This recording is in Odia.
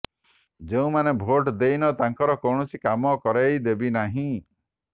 ଯେଉଁମାନେ ଭୋଟ ଦେଇନ ତାଙ୍କର କୌଣସି କାମ କରାଇଦେବି ନାହିଁ